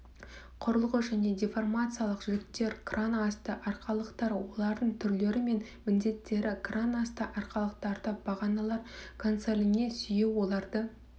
құрылғы және деформациялық жіктер кран асты арқалықтар олардың түрлері мен міндеттері кран асты арқалықтарды бағаналар консоліне сүйеу оларды